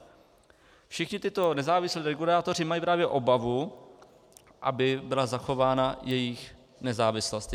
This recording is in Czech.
Všichni tito nezávislí regulátoři mají právě obavu, aby byla zachována jejich nezávislost.